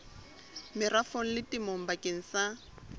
merafong le temong bakeng sa